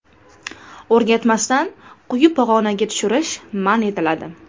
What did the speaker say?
O‘rgatmasdan quyi pog‘onaga tushirish man etiladi.